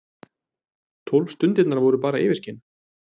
Tólf stundirnar voru bara yfirskin.